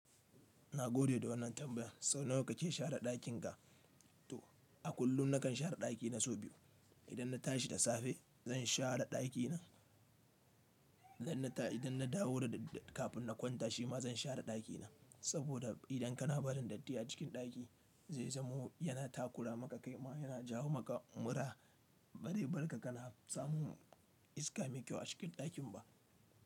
Na gode da wannan tambayan. Sau nawa kake share ɗakin ka? To, a kullum nakan share ɗaki na so biyu. Idan na tashi da safe, zan share ɗaki na. Idan na dawo da dadda-- kafin na kwanta, shi ma zan share ɗaki na. Saboda idan kana barin datti a cikin ɗaki, zai zamo yana takura maka kaima, yana jawo maka mura. Ba re barka kana samun iska mai kyau a cikin ɗakin ba.